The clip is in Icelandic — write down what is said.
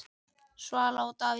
Svala og Davíð Þór.